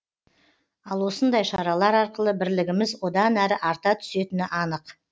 ал осындай шаралар арқылы бірлігіміз одан әрі арта түсетіні анық